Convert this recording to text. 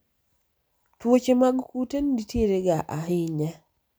tuoche mag kute nitiere ga ahinya